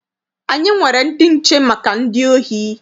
Anyị nwere ndị nche maka ndị ohi.